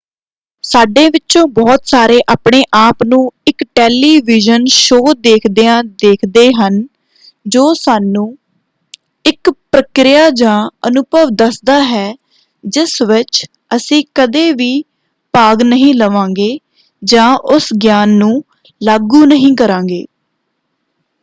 ਸਾਡੇ ਵਿਚੋਂ ਬਹੁਤ ਸਾਰੇ ਆਪਣੇ ਆਪ ਨੂੰ ਇਕ ਟੈਲੀਵਿਜ਼ਨ ਸ਼ੋਅ ਦੇਖਦਿਆਂ ਦੇਖਦੇ ਹਨ ਜੋ ਸਾਨੂੰ ਇਕ ਪ੍ਰਕਿਰਿਆ ਜਾਂ ਅਨੁਭਵ ਦੱਸਦਾ ਹੈ ਜਿਸ ਵਿੱਚ ਅਸੀਂ ਕਦੇ ਵੀ ਭਾਗ ਨਹੀਂ ਲਵਾਂਗੇ ਜਾਂ ਉਸ ਗਿਆਨ ਨੂੰ ਲਾਗੂ ਨਹੀਂ ਕਰਾਂਗੇ।